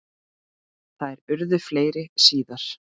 Þær urðu fleiri síðar.